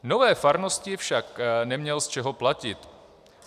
Nové farnosti však neměl z čeho platit.